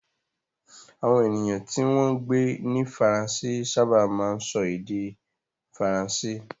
Àwọn ènìyàn tí wọ́n ń gbé ní Faransé sábà máa ń sọ èdè Faransé.